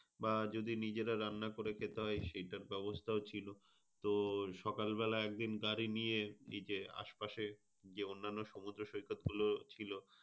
বা যদি নিজেরাও রান্না করে খেতে হয় সেটার ব্যবস্থাও ছিল। তোর সকাল বেলা একদিন গাড়ি নিয়ে beach এর আশপাশে যে অন্যান্য সমুদ্র সৈকতগুলো ছিল।